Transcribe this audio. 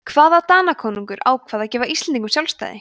hvaða danakonungur ákvað að gefa íslendingum sjálfstæði